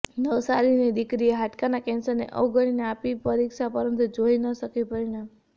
નવસારીની દીકરીએ હાડકાના કેન્સરને અવગણીને આપી પરિક્ષા પરંતુ જોઈ ન શકી પરિણામ